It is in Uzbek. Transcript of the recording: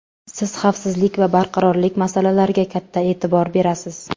Siz xavfsizlik va barqarorlik masalalariga katta e’tibor berasiz.